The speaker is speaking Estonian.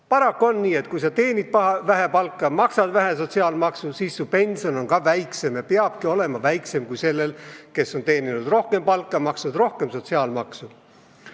Paraku on nii, et kui sa teenid vähe palka, maksad vähe sotsiaalmaksu, siis su pension on väiksem ja peabki olema väiksem kui sellel, kes on teeninud rohkem palka ja maksnud rohkem sotsiaalmaksu.